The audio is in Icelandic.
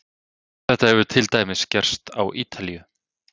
Þetta hefur til dæmis gerst á Ítalíu.